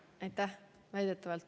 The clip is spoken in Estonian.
Aitäh!